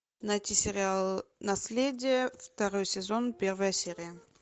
найти сериал наследие второй сезон первая серия